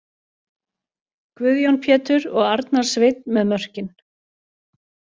Guðjón Pétur og Arnar Sveinn með mörkin!